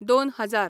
दोन हजार